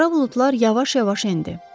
Qara buludlar yavaş-yavaş endi.